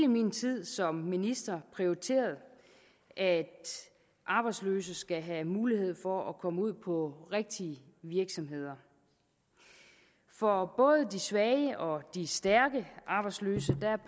min tid som minister prioriteret at arbejdsløse skal have mulighed for at komme ud på rigtige virksomheder for både de svage og de stærke arbejdsløse